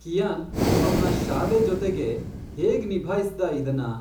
Qian ಅವ್ನ ಶಾಲೆ ಜೊತೆಗೆ ಹೇಗ್ ನಿಭಾಯಿಸ್ದ ಇದ್ನ?